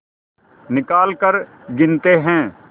निकालकर गिनते हैं